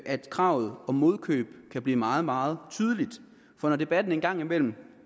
at kravet om modkøb kan blive meget meget tydeligt for når debatten engang imellem